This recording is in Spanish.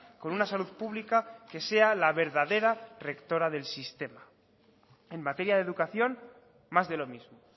con una salud pública que sea la verdadera rectora del sistema en materia de educación más de lo mismo